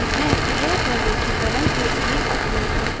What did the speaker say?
यह प्रलेखीकरण के लिए उपयोगी है